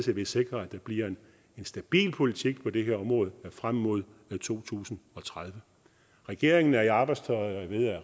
vi sikrer en stabil politik på det her område frem mod to tusind og tredive regeringen er i arbejdstøjet og